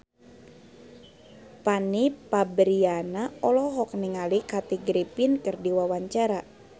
Fanny Fabriana olohok ningali Kathy Griffin keur diwawancara